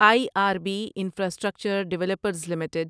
I R B Infrastructure Developers limited